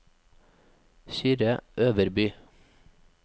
Kyrre Øverby